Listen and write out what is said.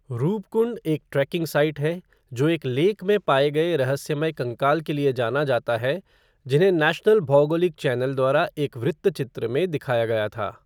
रूपकुंड एक trekking site है, जो एक लेक में पाए गए रहस्यमय कंकाल के लिए जाना जाता है, जिन्हे नेशनल भौगोलिक चैनल द्वारा एक वृत्तचित्र में दिखाया गया था।